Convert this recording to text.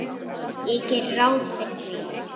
Ég geri ráð fyrir því.